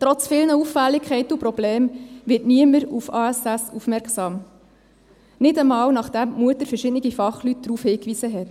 Trotz vielen Auffälligkeiten und Problemen wird niemand auf ASS aufmerksam, nicht einmal, nachdem die Mutter verschiedene Fachleute darauf hingewiesen hat.